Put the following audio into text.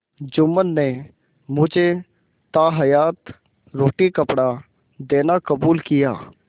जुम्मन ने मुझे ताहयात रोटीकपड़ा देना कबूल किया